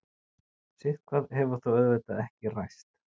Sitthvað hefur þó auðvitað ekki ræst.